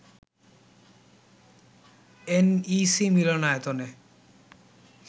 NEC মিলনায়তনে